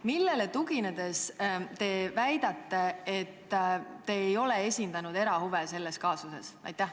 Millele tuginedes te väidate, et te ei ole selles kaasuses esindanud erahuve?